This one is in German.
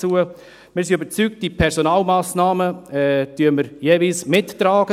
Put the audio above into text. Wir sind überzeugt davon, die Personalmassnahmen finanziell mitzutragen.